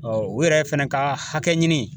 u yɛrɛ fɛnɛ ka hakɛɲini